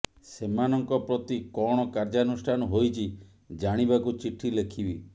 ସେମାନଙ୍କ ପ୍ରତି କଣ କାର୍ଯ୍ୟାନୁଷ୍ଠାନ ହୋଇଛି ଜାଣିବାକୁ ଚିଠି ଲେଖିବି